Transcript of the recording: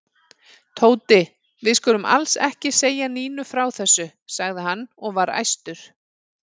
Tóti, við skulum alls ekki segja Nínu frá þessu sagði hann og var æstur.